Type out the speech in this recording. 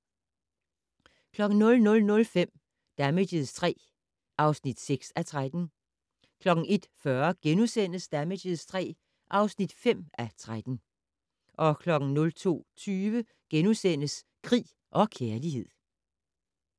00:05: Damages III (6:13) 01:40: Damages III (5:13)* 02:20: Krig og kærlighed *